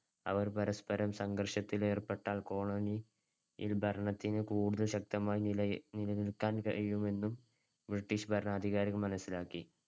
അവർ പരസ്‌പരം സംഘർഷത്തിലേർപ്പെട്ടാൽ colony യില്‍ ഭരണത്തിന് കൂടുതൽ ശക്തമായി നിലയെ~ നിലനിൽക്കാൻ കഴിയുമെന്ന് ബ്രിട്ടീഷ് ഭരണാധികാരികൾ മനസ്സിലാക്കി.